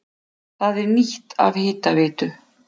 Það er nýtt af Hitaveitu